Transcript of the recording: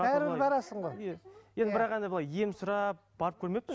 бәрібір барасың ғой енді бірақ енді былай ем сұрап барып көрмеппін